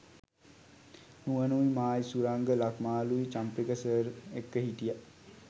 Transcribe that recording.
නුවනුයි මායි සුරංග ලක්මාලුයි චම්පක සර් එක්ක හිටිය.